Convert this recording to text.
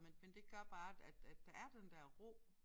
Men men det gør bare at at der er den der ro